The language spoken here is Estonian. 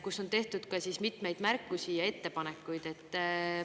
Kas teil kui valdkonna eest vastutaval ministril on märkusi ja ettepanekuid?